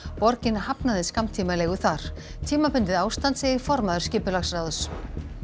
borgin hafnaði skammtímaleigu þar tímabundið ástand segir formaður skipulagsráðs